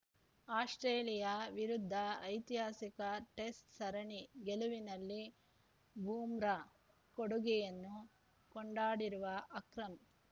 Australia ವಿರುದ್ಧ ಐತಿಹಾಸಿಕ test ಸರಣಿ ಗೆಲುವಿನಲ್ಲಿ ಬೂಮ್ರಾ ಕೊಡುಗೆಯನ್ನು ಕೊಂಡಾಡಿರುವ ಅಕ್ರಮ್‌